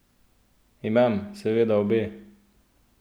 Imam seveda obe!